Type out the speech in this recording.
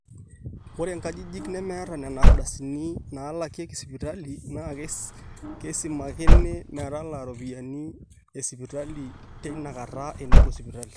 ore nkajijik nemeeta nena ardasini naalakieki sipitali naa keisimakini metalaa iropiyiani esipitali teinakata enepuo sipitali